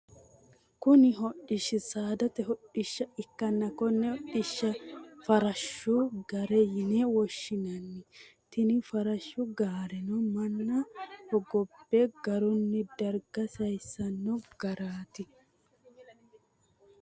Kunni hodhishi saadate hodhisha ikanna konne hodhisha farashu gaare yinne woshinnanni. Tinni farashu gaareno manna hogobe dargunni darga sayisano gaareeti.